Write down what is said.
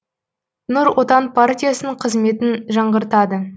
нұр отан партиясының қызметін жаңғыртады